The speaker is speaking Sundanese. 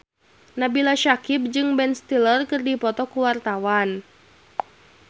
Nabila Syakieb jeung Ben Stiller keur dipoto ku wartawan